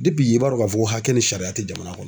i b'a dɔn k'a fɔ hakɛ ni sariya tɛ jamana kɔnɔ.